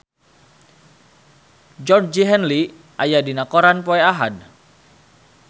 Georgie Henley aya dina koran poe Ahad